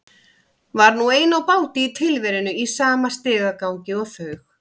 Var nú ein á báti í tilverunni í sama stigagangi og þau.